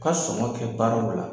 U ka sɔŋɔn kɛ baaraw la